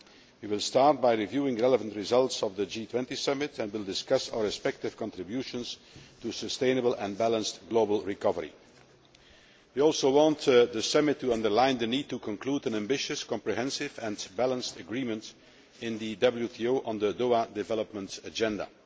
We will start by reviewing relevant results of the G20 summit and will discuss our respective contributions to sustainable and balanced global recovery. We also want the summit to underline the need to conclude an ambitious, comprehensive and balanced agreement in the WTO on the Doha Development Agenda.